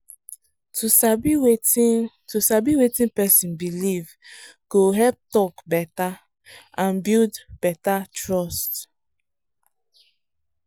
to sabi wetin to sabi wetin person believe go help talk better and build better trust.